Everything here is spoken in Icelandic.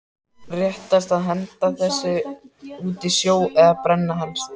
Réttast að henda þessu út í sjó eða brenna helst.